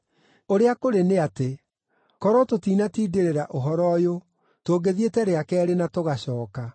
Ũrĩa kũrĩ nĩ atĩ, korwo tũtinatindĩrĩra ũhoro ũyũ tũngĩthiĩte rĩa keerĩ na tũgacooka.”